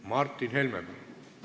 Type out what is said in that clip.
Martin Helme, palun!